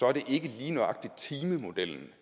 er det ikke lige nøjagtig timemodellen